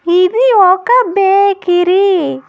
ఇది ఒక బేకిరీ .